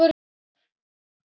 Við hlógum vel og lengi.